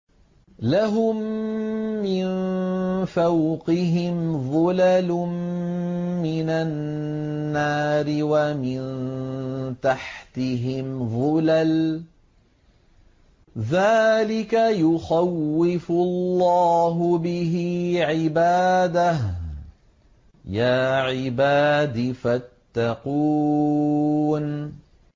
لَهُم مِّن فَوْقِهِمْ ظُلَلٌ مِّنَ النَّارِ وَمِن تَحْتِهِمْ ظُلَلٌ ۚ ذَٰلِكَ يُخَوِّفُ اللَّهُ بِهِ عِبَادَهُ ۚ يَا عِبَادِ فَاتَّقُونِ